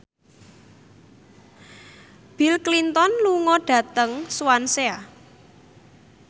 Bill Clinton lunga dhateng Swansea